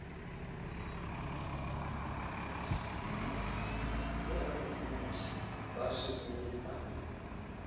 ya bodudi ba saruri ba